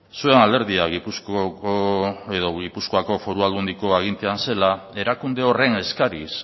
zuen alderdia gipuzkoako foru aldundiko agintean zela erakunde horren eskariz